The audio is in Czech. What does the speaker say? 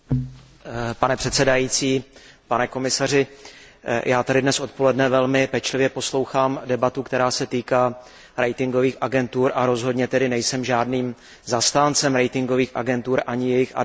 Pane předsedající, pane komisaři, já tady dnes odpoledne velmi pečlivě poslouchám debatu, která se týká ratingových agentur, a rozhodně tedy nejsem žádným zastáncem ratingových agentur, ani jejich advokátem.